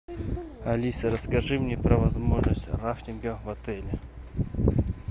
алиса расскажи мне про возможность рафтинга в отеле